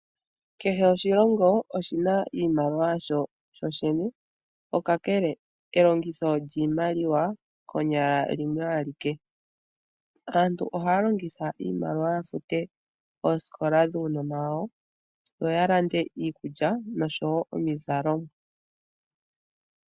Kehe oshilongo oshi na iimaliwa yasho sho shene, kakele elongitho lyiimaliwa konyala limwe alike. Aantu ohaya longitha iimaliwa ya fute oosikola dhuunona wawo yo ya lande iikulya nosho wo omizalo.